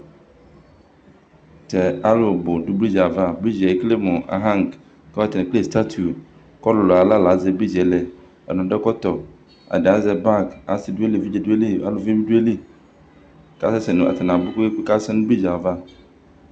Tʋ alʋ bʋ dʋ bridzi ava Bridzi ekele mʋ ahaŋgi kʋ atani ekele sitatiʋ kʋ ɔlʋlʋ ayu aɣla la azɛ bridzi lɛ Alʋ adʋ ɛkɔtɔ, ɛdini azɛ bagi, asi dʋ ayili, evidze bi dʋ ayili, aluvi bi dʋ ayili kʋ asɛ nʋ, atani abʋ kpekpeekpe kʋ asɛsɛ nʋ bridzi yɛ ava